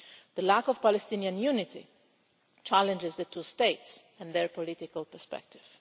The lack of Palestinian unity challenges the two states and their political perspective.